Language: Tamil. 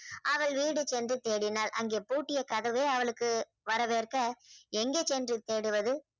அவள் வீடு சென்று தேடினாள் அங்கே பூட்டிய கதவே அவளுக்கு வரவேற்க எங்க சென்று தேடுவது